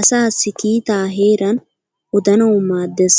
asaasi kiitaa heeran odanawu maadees,